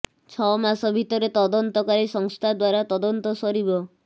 ଛଅ ମାସ ଭିତରେ ତଦନ୍ତକାରୀ ସଂସ୍ଥା ଦ୍ୱାରା ତଦନ୍ତ ସରିବ